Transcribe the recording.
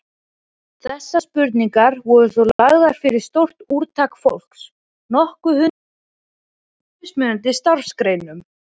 Þessar spurningar voru svo lagðar fyrir stórt úrtak fólks, nokkur hundruð manns, í mismunandi starfsgreinum.